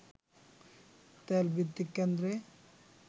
তেল ভিত্তিক কেন্দ্রে